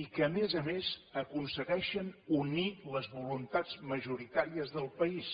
i que a més a més aconsegueixen unir les voluntats majoritàries del país